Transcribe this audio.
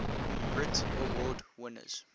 brit award winners